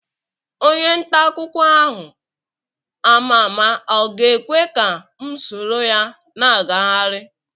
Onye nta akwụkwọ ahụ ama ama ọ ga-ekwe ka m soro ya na-agagharị?